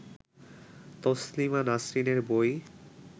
তসলিমা নাসরিনের বই